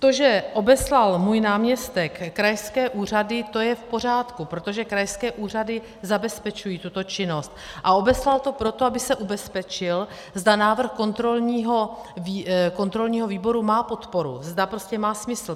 To, že obeslal můj náměstek krajské úřady, to je v pořádku, protože krajské úřady zabezpečují tuto činnost, a obeslal to proto, aby se ubezpečil, zda návrh kontrolního výboru má podporu, zda prostě má smysl.